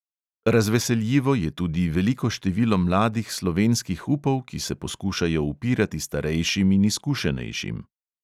Razveseljivo je tudi veliko število mladih slovenskih upov, ki se poskušajo upirati starejšim in izkušenejšim.